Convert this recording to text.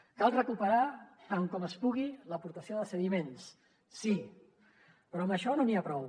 cal recuperar tant com es pugui l’aportació de sediments sí però amb això no n’hi ha prou